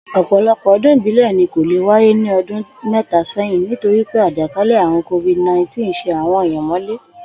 Ò̩pò̩lo̩pò̩ o̩dún ìbílè̩ ni kò lè wáyé ní o̩dún mé̩ta sé̩yìn nítorí pé àjè̩kálè̩ àrùn covid-nineteen sé àwo̩n ènìyàn mó̩lé